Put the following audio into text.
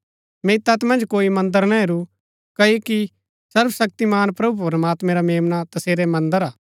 मैंई तैत मन्ज कोई मन्दर ना हेरू क्ओकि सर्वशक्तिमान प्रभु प्रमात्मैं रा मेम्ना तसेरा मन्दर हा